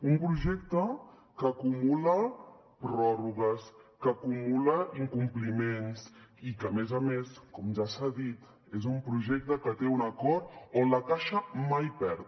un projecte que acumula pròrrogues que acumula incompliments i que a més a més com ja s’ha dit és un projecte que té un acord on la caixa mai perd